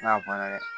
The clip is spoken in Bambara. N'a banna dɛ